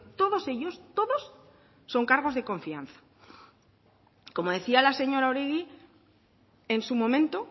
todos ellos todos son cargos de confianza como decía la señora oregi en su momento